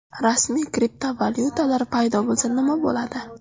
Rasmiy kriptovalyutalar paydo bo‘lsa nima bo‘ladi?